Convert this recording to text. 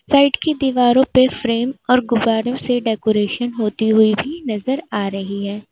Side की दीवारो पे फ्रेम और गुब्बारे से डेकोरेशन होती हुई भी नजर आ रही है।